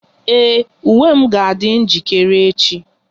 Ee, uwe m ga adi njirikere echi